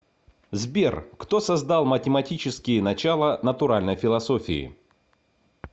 сбер кто создал математические начала натуральной философии